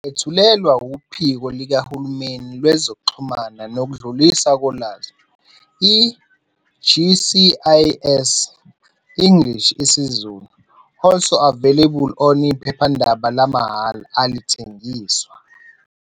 Niyethulelwa WuPhiko likaHulumeni Kwezokuxhumana Nokudluliswa Kolwazi, i-GCIS, English, isiZulu. ALSO AVAILABLE ON-IPHEPHANDABA LAMAHHALA, ALITHENGISWA